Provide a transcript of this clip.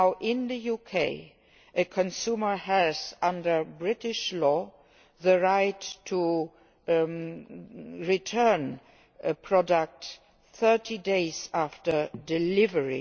In the UK a consumer has, under British law, the right to return a product 30 days after delivery.